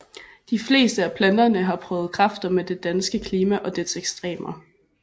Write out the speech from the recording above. De fleste af planterne har prøvet kræfter med det danske klima og dets ekstremer